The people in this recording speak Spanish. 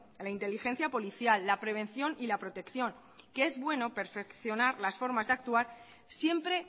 la inteligencia policial la prevención y la protección que es bueno perfeccionar la forma de actuar siempre